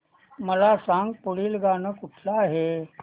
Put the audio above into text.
मला सांग पुढील गाणं कुठलं आहे